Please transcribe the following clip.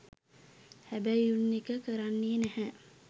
හැබයි උන් එක කරන්නේ නැහැ